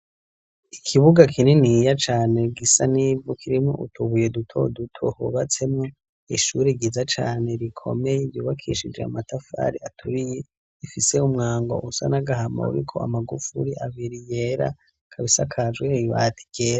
Ikibuga kininiya cane, gisa n'ivu kirimwo utubuye duto duto, hubatsemwo ishuri ryiza cane, rikomeye ryubakishije amatafari aturiye, ifise umwango usa n'agahama, uriko amagufuri abiri yera, ikaba isakajwe ibati ryera.